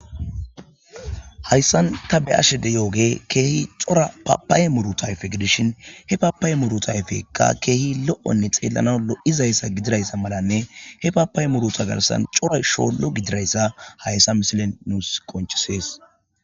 Haysan ta be'ashsha dizzoge keehi c'ora papaya muruththa ayiffe giddishshen he papaya muruththa ayffekka lo'onne keehi xelanawu lo'izayissa giddoga mallanne he papaya muruththa garissan c'ora shsholo giddizayssa haayssa misile nusi qonc'ises.